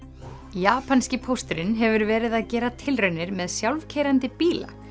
japanski pósturinn hefur verið að gera tilraunir með sjálfkeyrandi bíla